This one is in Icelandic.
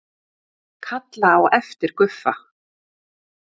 Kalla á eftir Guffa.